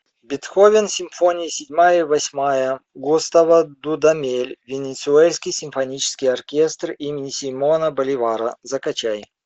бетховен симфония седьмая восьмая густаво дудамель венесуэльский симфонический оркестр имени симона боливара закачай